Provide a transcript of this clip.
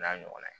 N'a ɲɔgɔnna